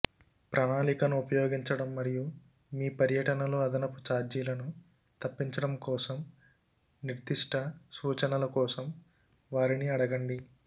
ప్రణాళికను ఉపయోగించడం మరియు మీ పర్యటనలో అదనపు ఛార్జీలను తప్పించడం కోసం నిర్దిష్ట సూచనల కోసం వారిని అడగండి